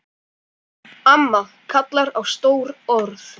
Amma kallar á stór orð.